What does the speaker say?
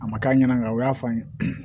A ma k'a ɲɛna o y'a fɔ an ye